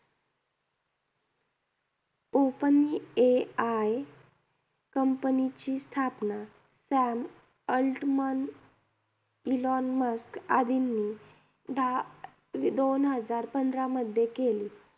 Open AI company ची स्थापना Sam Altman, Elon Musk आदींनी दहा दोन हजार पंधरामध्ये केली.